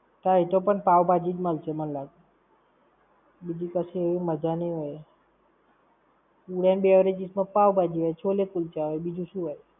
તઇ તો પણ પાવ-ભાજી જ મળશે મન લાગે, બીજી કશી એવી મજા નઈ હોય. ~ beverages માં પાવ-ભાજી, છેલો-કુલચા હોય બિજુ શું હોય?